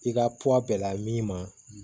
I ka pwa bɛn na min ma